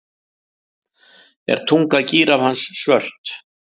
Er tunga gíraffans svört?